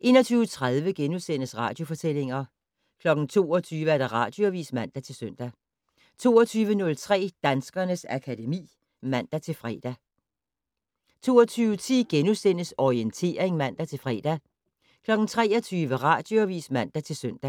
21:30: Radiofortællinger * 22:00: Radioavis (man-søn) 22:03: Danskernes akademi (man-fre) 22:10: Orientering *(man-fre) 23:00: Radioavis (man-søn) 23:05: